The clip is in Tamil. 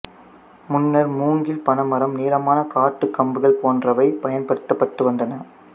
முன்னர் மூங்கில் பனைமரம் நீளமான காட்டுக் கம்புகள் போன்றவை பயன்படுத்தப்பட்டு வந்தன